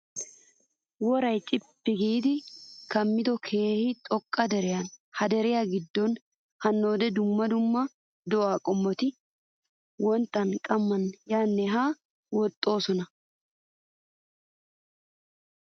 Worayi cippi giidi kammido keehi xoqqa deriyaa. ha deriya giddon hannoode dumma dumma do'aa qommoti wonttan qamman yaanne haane woxxoosona.